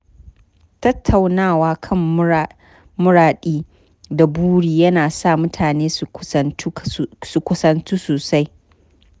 Tattaunawa kan muradi da buri ya na sa mutane su kusantu sosai.